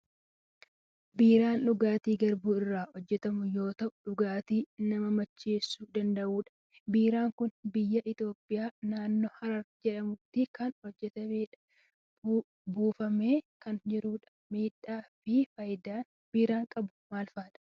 Biiraan dhugaatii garbuu irraa hojjetamu yoo ta'u, dhugaatii nama macheessuu danda'udha. Biiraan kun biyya Itoophiyaa naannoo Harar jedhamutti kan hojjetamedha. Buufamee kan jirudha. Miidhaa fi faayidaa biiraan qabu maal fa'a?